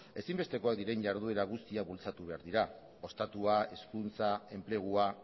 ezinbestekoak diren jarduera guztiak bultzatu behar dira ostatua hezkuntza enplegua